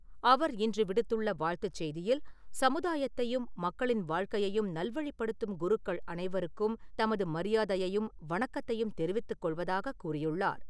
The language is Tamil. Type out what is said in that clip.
அவர் இன்று விடுத்துள்ள வாழ்த்துச் செய்தியில், சமுதாயத்தையும் மக்களின் வாழ்க்கையையும் நல்வழிப்படுத்தும் குருக்கள் அனைவருக்கும் தமது மரியாதையையும் வணக்கத்தையும் தெரிவித்துக் கொள்வதாகக் கூறியுள்ளார்.